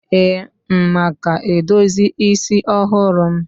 ee, m maka edozi isi ọhụrụ m?